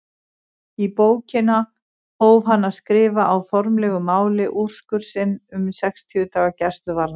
Í bókina hóf hann að skrifa á formlegu máli úrskurð sinn um sextíu daga gæsluvarðhald.